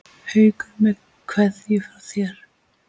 Haukur með kveðju frá þér.